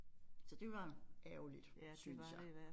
Så det var ærgerligt syntes jeg